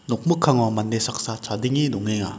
nokmikkango mande saksa chadenge dongenga.